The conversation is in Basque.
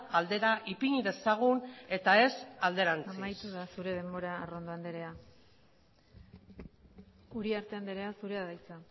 aldera ipini dezagun eta ez alderantziz amaitu da zure denbora arrondo andrea uriarte andrea zurea da hitza